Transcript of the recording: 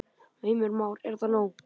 Heimir Már: Er það nóg?